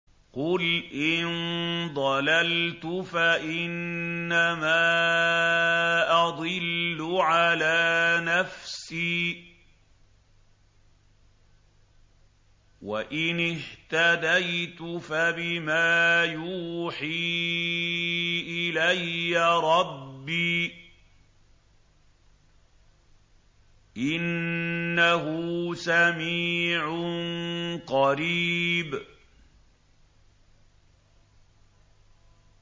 قُلْ إِن ضَلَلْتُ فَإِنَّمَا أَضِلُّ عَلَىٰ نَفْسِي ۖ وَإِنِ اهْتَدَيْتُ فَبِمَا يُوحِي إِلَيَّ رَبِّي ۚ إِنَّهُ سَمِيعٌ قَرِيبٌ